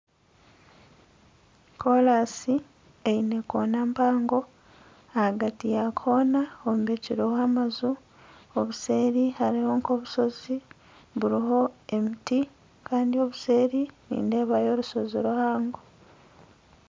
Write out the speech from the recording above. Korasi eine koona mpango, ahagati ya koona hombekireho amaju. Obuseeri hariho nk'obushozi buriho emiti kandi obuseeri nindeebayo orushozi ruhango.